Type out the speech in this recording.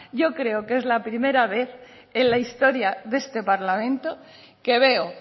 yo creo que es la primera vez en la historia de este parlamento que veo